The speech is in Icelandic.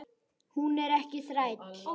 Hún er ekki þræll.